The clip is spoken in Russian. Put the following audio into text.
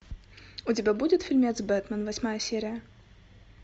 у тебя будет фильмец бэтмен восьмая серия